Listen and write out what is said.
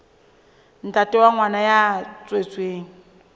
ntate wa ngwana ya tswetsweng